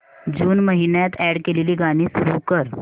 जून महिन्यात अॅड केलेली गाणी सुरू कर